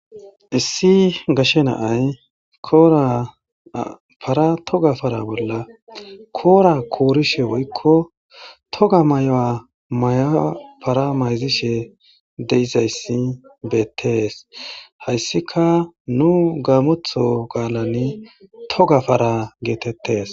Issi gashe na'ay koora para toga para bolla koora koorishe woyko toga maya para mayzishe de'izaysi beetees. Haysika nu gamotho qaalani toga para geetetees.